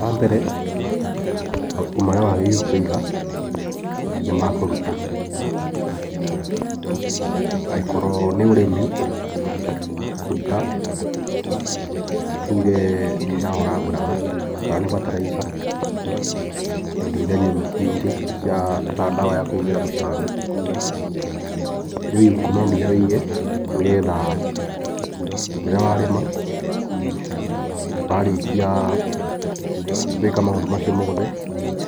Wambere mabuku marĩa wagĩrĩirwo kũiga nĩ makũruta, angĩkorwo nĩ ũrĩmi kũruta tuge nĩ ndawa ũragũraga, kana nĩ bataraica na indo iria ingĩ ta ndawa ya kũhũhĩra tũtambi. Rĩu ibuku no nginya wige nĩgetha rĩrĩa warĩma warĩkia gwĩka maũndũ macio mothe,